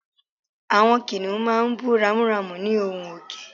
Àwọn kìnìún máa ń bú ramúramù ní ohùn òkè